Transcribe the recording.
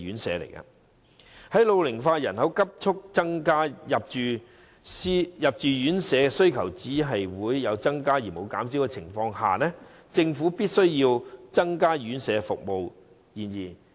在老齡化人口急速增加，入住院舍需求有增無減的情況下，政府必須增加院舍服務。